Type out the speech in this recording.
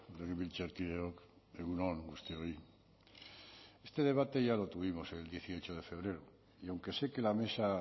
legebiltzarkideok egun on guztioi este debate ya lo tuvimos el dieciocho de febrero y aunque sé que la mesa